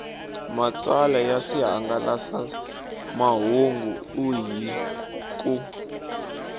matsalwa ya swihangalasamahungu hi ku